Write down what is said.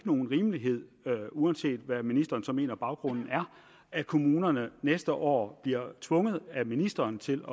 nogen rimelighed i uanset hvad ministeren så mener at baggrunden er at kommunerne næste år bliver tvunget af ministeren til